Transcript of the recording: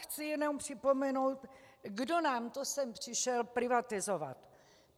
Chci jenom připomenout, kdo nám to sem přišel privatizovat.